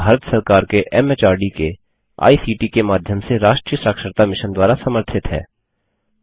यह भारत सरकार के एमएचआरडी के आईसीटी के माध्यम से राष्ट्रीय साक्षरता मिशन द्वारा समर्थित है